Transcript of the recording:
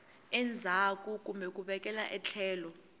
endzhaku kumbe ku vekela etlhelo